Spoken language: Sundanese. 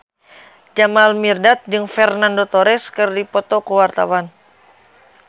Jamal Mirdad jeung Fernando Torres keur dipoto ku wartawan